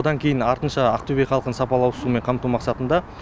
одан кейін артынша ақтөбе халқын сапалы ауызсумен қамту мақсатында